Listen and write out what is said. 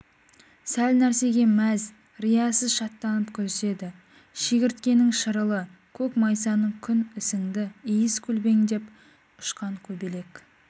сәл нәрсеге мәз риясыз шаттанып күліседі шегірткенің шырылы көк майсаның күн ісіңді иіс көлбеңдеп ұшқан көбелек